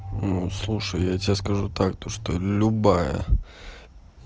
ну слушай я тебе скажу так то что любая